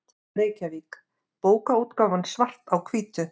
Reykjavík: Bókaútgáfan Svart á hvítu.